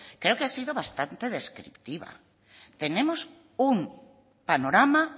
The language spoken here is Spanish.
creo que ha sido bastante descriptiva tenemos un panorama